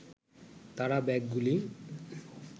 তাঁরা ব্যাগগুলি